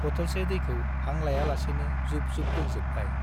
बटलसे दैखो हां लाया लासेनो जुब- जुब लोंजोबबाय ।